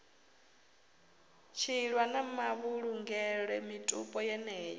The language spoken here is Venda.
tshiilwa na mavhulungele mitupo yeneyo